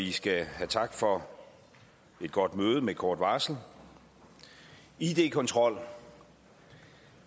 i skal have tak for et godt møde med kort varsel id kontrol